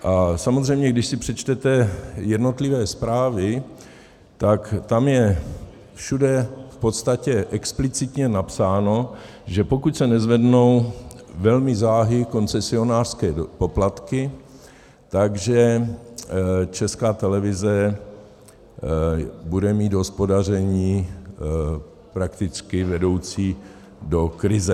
A samozřejmě když si přečtete jednotlivé zprávy, tak tam je všude v podstatě explicitně napsáno, že pokud se nezvednou velmi záhy koncesionářské poplatky, tak Česká televize bude mít hospodaření prakticky vedoucí do krize.